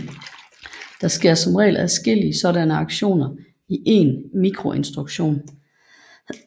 Der sker som regel adskillige sådanne aktioner i én mikroinstruktion